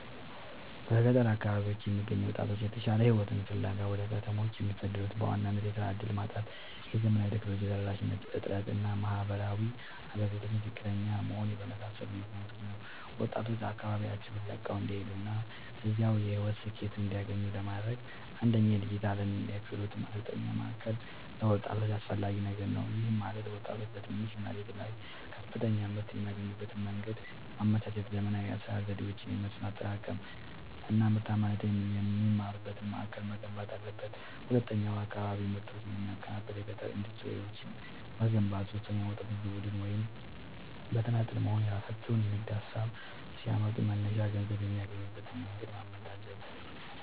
በገጠር አካባቢዎች የሚገኙ ወጣቶች የተሻለ ሕይወትን ፍለጋ ወደ ከተሞች የሚሰደዱት በዋናነት የሥራ ዕድል ማጣት፣ የዘመናዊ ቴክኖሎጂ ተደራሽነት እጥረት እና የማኅበራዊ አገልግሎቶች ዝቅተኛ መሆን በመሳሰሉ ምክኒያቶች ነው። ወጣቶች አካባቢያቸውን ለቀው እንዳይሄዱና እዚያው የሕይወት ስኬትን እንዲያገኙ ለማድረግ፣ አንደኛ የዲጂታልና የክህሎት ማሠልጠኛ ማእከል ለወጣቶች አስፈላጊ ነገር ነው። ይህም ማለት ወጣቶች በትንሽ መሬት ላይ ከፍተኛ ምርት የሚያገኙበትን መንገድ ማመቻቸት፣ ዘመናዊ የአሠራር ዘዴዎችን፣ የመስኖ አጠቃቀም አናምርታማነትን የሚማሩበት ማእከል መገንባት አለበት። ሁለተኛው የአካባቢ ምርቶችን የሚያቀናብር የገጠር ኢንዱስትሪዎችን መገንባት። ሦስተኛው ወጣቶች በቡድን ወይም በተናጠል በመሆንየራሣቸውን የንግድ ሀሳብ ሲያመጡ መነሻ ገንዘብ የሚያገኙበትን መንገድ ማመቻቸት።